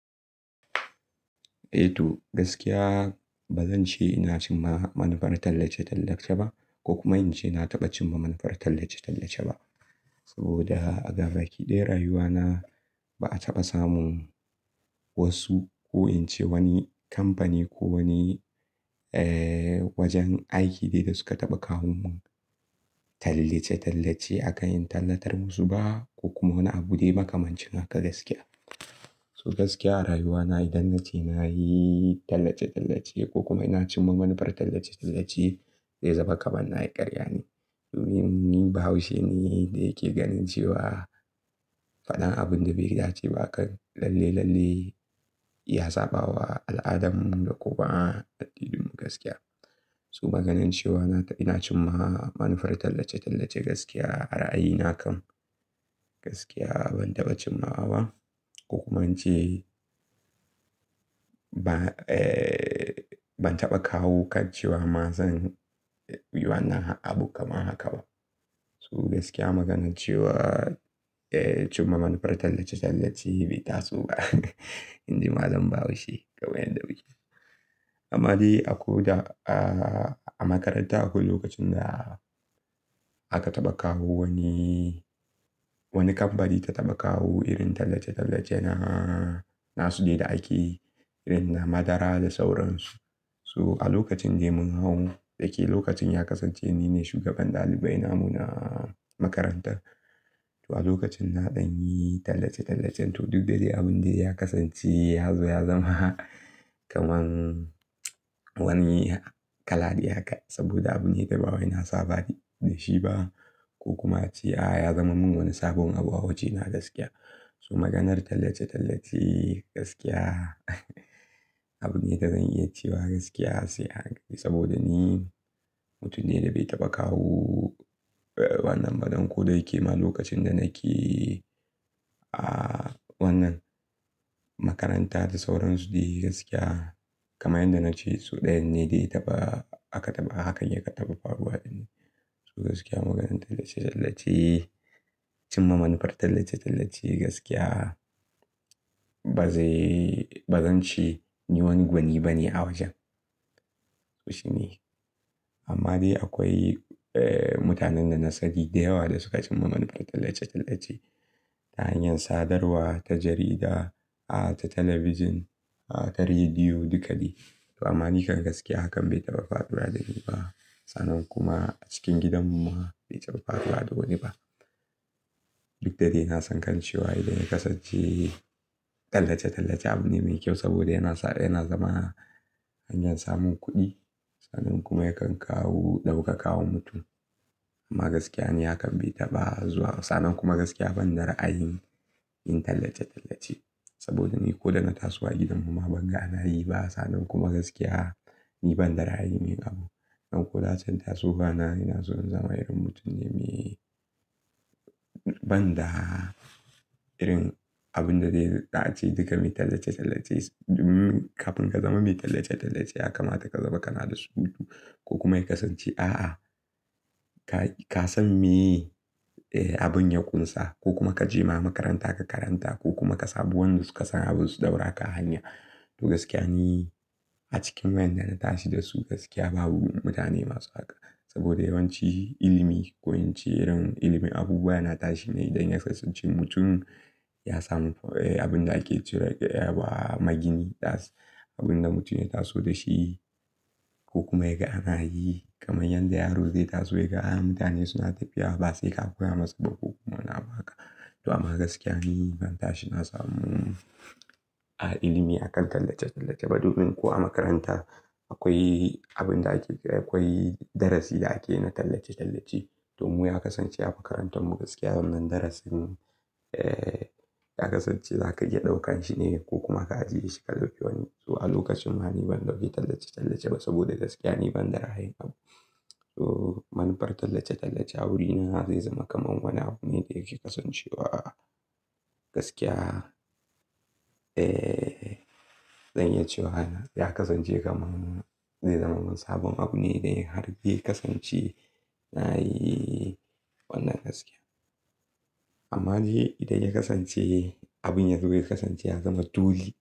Eh to gaskiya ba zan ce ina cin ma manafar tallace-tallace ba ko kuma in ce na taɓa cin manafar tallace-tallace ba. Saboda a gaba ki daya rayuwana ba a taɓa samun wasu ko in ce wani kamfani ko wani wajen aiki dai da suka taɓa kawo mun tallace-tallace a kan in tallatar musu ba ko kuma wani abu dai makamancin haka gaskiya. So gaskiya a rayuwana idan na ce na yi tallace-tallace ko kuma ina cin manafar tallace-tallace zai zama kamar na yi ƙarya ne. Domin ni Bahaushe ne da yake ganin cewa faɗan abin da bai dace ba akan lalle-lalle ya saba wa al'adanmu da kuma a dabi'unmu gaskiya. So maganance wa na taba ina cin manafar tallace-tallace gaskiya a ra'ayina kam gaskiya ban taɓa cinmawa ba ko kuma in ce ba, ban taɓa kawo kan cewa ma zan yi wannan abun kamar haka ba. So gaskiya maganance wa, cin ma manafar tallace-tallace bai taso ba. Indai malam bahaushe kawai yan da muke. Amma dai ako da a makaranta akwai lokacin da aka taɓa kawo wani, wani kamfani ta taɓa kawo irin tallace-tallace na, nasu dai da ake yi irin na madara da sauransu. So a lokacin dai mun hau dake lokacin ya kasance nine shugaban ɗalibai namu na makarantar. To a lokacin na ɗan yi tallace-tallace to duk da dai abun dai ya kasance ya zo ya zama kamar wani kala dai haka saboda abune da bawai na saba da shi ba ko kuma a ce a ya zama mun wani sabon abu waje na gaskiya. So maganar tallace-tallace gaskiya abune da zan iya cewa gaskiya sai a hankali saboda ni mutum ne da bai taɓa kawo wannan ba dan ko da yake ma lokacin da nake a wannan makaranta da sauransu dai gaskiya kamar yadda na ce su ɗayan ne dai taɓa aka taɓa hakan yake taɓa faruwa ɗin. So gaskiya maganar tallace-tallace, cin ma manufar tallace-tallace gaskiya ba zai, ba zan ce ni wani gwani bane a wajen. To shine amma dai akwai mutanen da na sani da yawa da suka cin ma manufar tallace-tallace ta hanyar sadarwa ta jarida, ta talabijin, ta rediyo duka dai. Amma nikan gaskiya hakan bai taɓa faruwa da ni ba. Sannan kuma a cikin gidan mu ma bai taba faruwa da wani ba. Duk da dai na san kan cewa idan ya kasance tallace-tallace abune mai kyau saboda yana sa, yana zama hanyar samun kuɗi sannan kuma yakan kawo ɗauka kawa mutum. Amma gaskiya ni hakan bai taɓa zuwa sannan kuma gaskiya ban da ra'ayin yin tallace-tallace saboda ni ko da na taso a gidan mu ma ban ga na yi ba sannan kuma gaskiya ni ban da ra'ayin yin abu. Dan ko da can tasowa na ina so in zama irin mutum ne mai ban da irin abun da zai za ace duka mai tallace-tallace. Domin kafin ka zama mai tallace-tallace ya kamata ka zaba kana da surutu ko kuma ya kasance a'a ka san me abin ya ƙunsa ko kuma ka je ma makaranta ka karanta ko kuma ka samu wanda suka san abun su ɗaura ka a hanya. To gaskiya ni a cikin wayanda na tashi da su gaskiya babu mutane masu haka saboda yawanci ilimi ko in ce irin ilimin abubuwa yana tashi ne idan ya kasance cikin mutum ya samu abin da ake cire wa magini da abin da mutum ya taso da shi ko kuma ya ga ana yi kamar yadda yaro zai taso ya ga a mutane suna tafiya ba sai ka koya masa ba ko kuma wani abu haka. To amma gaskiya ni ban tashi na samu a ilimi a kan tallace-tallace ba domin ko a makaranta akwai abin da ake, akwai darasi da ake na tallace-tallace. To mu ya kasance a makarantar mu gaskiya wannan darasin ya kasance zaka iya ɗaukan shi ne ko kuma ka ajiye shi ka dauki wani. To a lokacin ma ni ban dauki tallace-tallace ba saboda gaskiya ni ban da ra'ayi abu. So manufar tallace-tallace a wurina zai zama kamar wani abune da yake kasancewa gaskiya. Eh zan iya cewa ya kasance kamar zai zama min sabon abune da har dai ya kasance na yi wannan gaskiya. Amma dai idan ya kasance abin ya zo ya kasance ya zama dole.